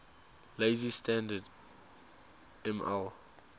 lazy standard ml